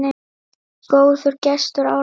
Góður gestur, Árni.